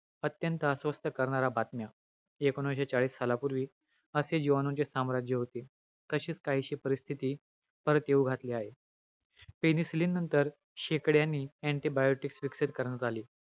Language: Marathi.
अंत्यत अस्वस्थ करणाऱ्या बातम्या. एकोणविशे चाळीस सालापूर्वी असे जिवाणूंचे साम्राज्य होते. तशीच काहीशी परिस्थिती परत येऊ घातली आहे. penicilin नंतर, शेकड्यानि antibiotics विकसित करण्यात आले.